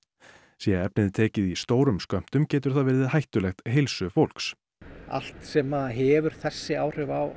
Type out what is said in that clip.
sé efnið tekið í stórum skömmtum getur það verið hættulegt heilsu fólks allt sem hefur þessi áhrif á